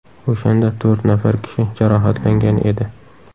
O‘shanda to‘rt nafar kishi jarohatlangan edi.